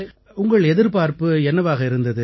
உங்கள் எதிர்பார்ப்பு என்னவாக இருந்தது